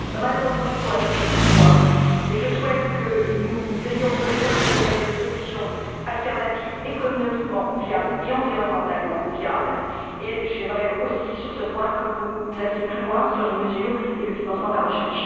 Malheureusement, il faut aller plus loin et je souhaite que nous ayons, pour les professionnels, des solutions alternatives de rechange économiquement viables et environnementalement viablesur les plans économique et environnemental. J'aimerais aussi, sur ce point, que vous alliez plus loin sur les mesures et le financement de la recherche.